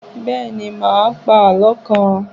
Bẹ́ẹ̀ ni, mà á pa àlọ́ kan.